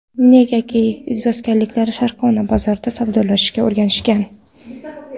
Negaki, izboskanliklar sharqona bozorda savdolashishga o‘rganishgan.